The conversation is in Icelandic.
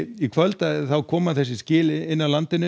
í kvöld koma skil inn af landinu